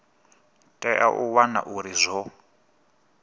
tea u wana uri zwo